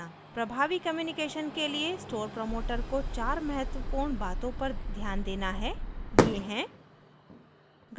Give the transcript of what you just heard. प्रभावी कम्यूनकेशन के लिए स्टोर प्रमोटर को चार महत्वपूर्ण बातों पर ध्यान देना है ये हैं